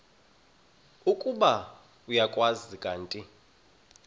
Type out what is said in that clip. ukuba uyakwazi kanti